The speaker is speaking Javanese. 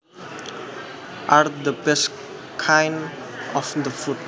are the best kind of that food